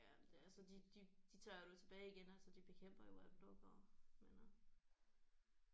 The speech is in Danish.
Jamen det altså de de de tager det jo tilbage igen altså de bekæmper jo AdBlock og men øh